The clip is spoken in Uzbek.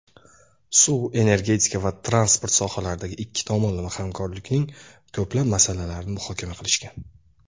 suv-energetika va transport sohalaridagi ikki tomonlama hamkorlikning ko‘plab masalalarini muhokama qilishgan.